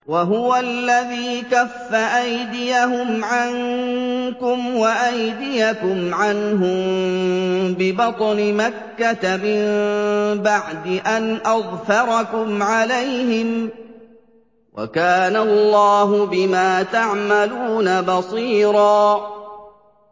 وَهُوَ الَّذِي كَفَّ أَيْدِيَهُمْ عَنكُمْ وَأَيْدِيَكُمْ عَنْهُم بِبَطْنِ مَكَّةَ مِن بَعْدِ أَنْ أَظْفَرَكُمْ عَلَيْهِمْ ۚ وَكَانَ اللَّهُ بِمَا تَعْمَلُونَ بَصِيرًا